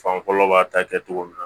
Fan fɔlɔ b'a ta kɛ cogo min na